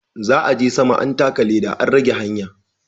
Za'a je sama an taka leɗa an rage hanya.